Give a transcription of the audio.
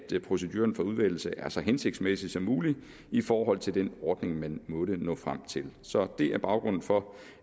proceduren for udvælgelse er så hensigtsmæssig som muligt i forhold til den ordning man måtte nå frem til så det er baggrunden for